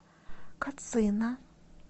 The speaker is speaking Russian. кацина